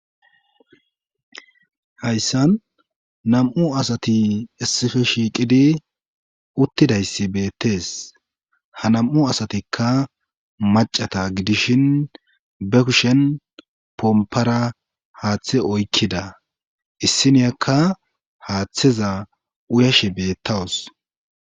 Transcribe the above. hayssan nam7u asati issife shiiqidi uttidayssi beettees ha nam7u asatikka macata gidishin be kushen pompara haaththe oykkida issiniyakka haaththeza uyashe beettawus